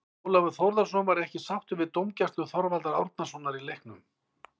Ólafur Þórðarson var ekki sáttur við dómgæslu Þorvaldar Árnasonar í leiknum.